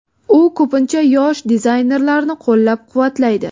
U ko‘pincha yosh dizaynerlarni qo‘llab-quvvatlaydi.